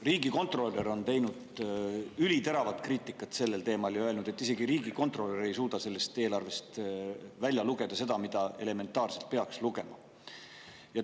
Riigikontrolör on teinud üliteravat kriitikat sellel teemal ja öelnud, et isegi riigikontrolör ei suuda sellest eelarvest välja lugeda seda, mida elementaarselt peaks saama välja lugeda.